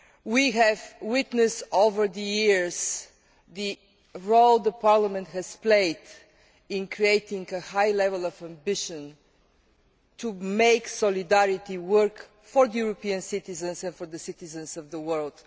We have witnessed over the years the role that Parliament has played in creating a high level of ambition to make solidarity work for European citizens and for the citizens of the world.